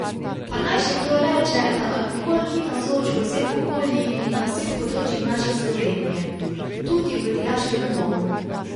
Pa naj še kdo reče, da alkohol ni navzoč v vseh okoljih in na vseh področjih naše Slovenije, tudi v dijaškem domu.